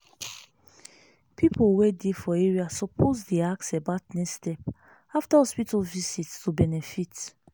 people wey dey for area suppose dey ask about next step after hospital visit to benefit.